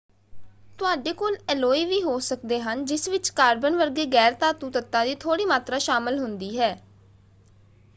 ਤੁਹਾਡੇ ਕੋਲ ਐਲੋਏ ਵੀ ਹੋ ਸਕਦੇ ਹਨ ਜਿਸ ਵਿੱਚ ਕਾਰਬਨ ਵਰਗੇ ਗੈਰ-ਧਾਤੂ ਤੱਤਾਂ ਦੀ ਥੋੜ੍ਹੀ ਮਾਤਰਾ ਸ਼ਾਮਲ ਹੁੰਦੀ ਹੈ।